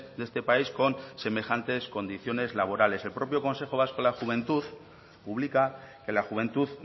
de este país con semejantes condiciones laborales el propio consejo vasco de la juventud publica que la juventud